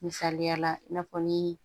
Misaliyala i n'a fɔ ni